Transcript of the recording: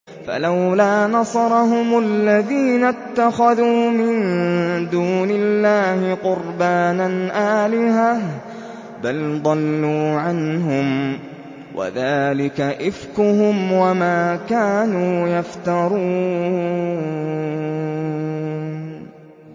فَلَوْلَا نَصَرَهُمُ الَّذِينَ اتَّخَذُوا مِن دُونِ اللَّهِ قُرْبَانًا آلِهَةً ۖ بَلْ ضَلُّوا عَنْهُمْ ۚ وَذَٰلِكَ إِفْكُهُمْ وَمَا كَانُوا يَفْتَرُونَ